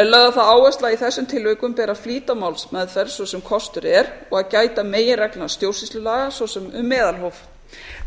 er lögð á það áhersla í þessum tilvikum beri að flýta málsmeðferð svo sem kostur er og að gæta meginreglna stjórnsýslulaga svo sem um meðalhóf